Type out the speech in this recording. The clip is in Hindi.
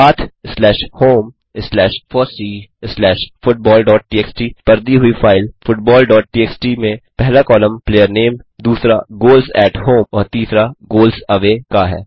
path slash home slash fossee slash football dot TXT पर दी हुई फाइल फुटबॉल डॉट टीएक्सटी में पहला कॉलम प्लेयर नामे दूसरा गोल्स एटी होम और तीसरा गोल्स अवय का है